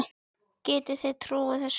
Getið þið trúað þessu?